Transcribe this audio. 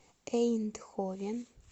эйндховен